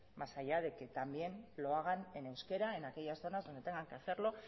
más allá de que también lo hagan en euskera en aquellas zonas donde tengan que hacerlo